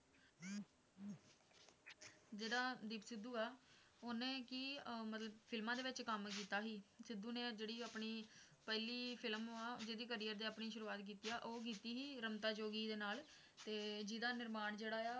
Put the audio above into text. ਜਿਹੜਾ ਦੀਪ ਸਿੱਧੂ ਆ ਉਹਨੇ ਕਿ ਅਹ ਮਤਲਬ ਫਿਲਮਾਂ ਵਿੱਚ ਕੰਮ ਕੀਤਾ ਸੀ, ਸਿੱਧੂ ਨੇ ਜਿਹੜੀ ਆਪਣੀ ਪਹਿਲੀ film ਆ, ਜਿਹ ਤੇ career ਦੀ ਆਪਣੀ ਸ਼ੁਰੂਆਤ ਕੀਤੀ ਆ ਉਹ ਕੀਤੀ ਸੀ ਰਮਤਾ ਜੋਗੀ ਦੇ ਨਾਲ ਤੇ ਜਿਹਦਾ ਨਿਰਮਾਣ ਜਿਹੜਾ ਆ,